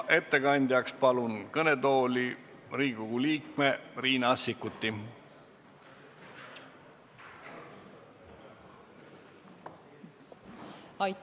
Ettekandjaks palun kõnetooli Riigikogu liikme Riina Sikkuti.